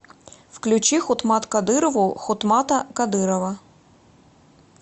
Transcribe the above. включи хутмат кадырову хутмата кадырова